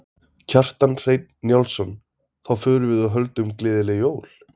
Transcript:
Kjartan Hreinn Njálsson: Þá förum við og höldum gleðileg jól?